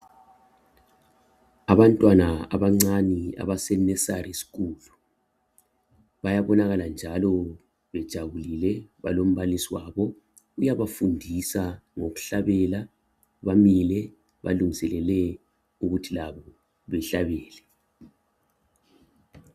Abantwana abancane abase nursery school bayabonakala njalo bejabuli le balombalisi wabo uyabafundisa ngokuhlabela bamile balungiselele ukuthi labo bahlabele